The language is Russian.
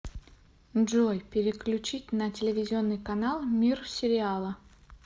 джой переключить на телевизионный канал мир сериала